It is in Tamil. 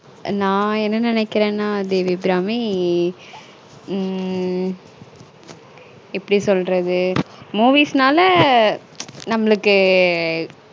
நான் என்ன நெனேக்குறனா தேவி அபிராமி ம்ம்ம் எப்டி சொல்றது movies நாளா நம்ளுக்கு